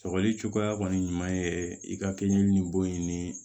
Sɔgɔli cogoya kɔni ɲuman ye i ka kɛɲɛ ni bon ye ni